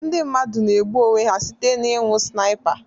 Ndị mmadụ na-egbu onwe ha site n'ịnu Snipa